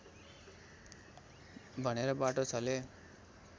भनेर बाटो छले